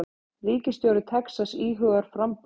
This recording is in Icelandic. Ríkisstjóri Texas íhugar framboð